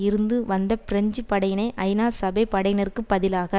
இருந்து வந்த பிரெஞ்சு படையினை ஐநா சபை படையினருக்கு பதிலாக